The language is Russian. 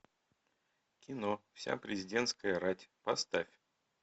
кино вся президентская рать поставь